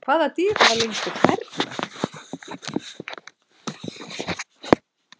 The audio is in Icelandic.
Hvaða dýr hafa lengstu klærnar?